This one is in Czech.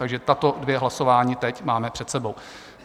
Takže tato dvě hlasování teď máme před sebou.